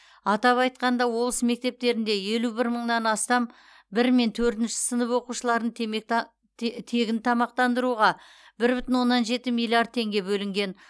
атап айтқанда облыс мектептерінде елу бір мыңнан астам бір мен төртінші сынып оқушыларын темегта тегін тамақтандыруға бір бүтін оннан жеті миллиард теңге бөлінген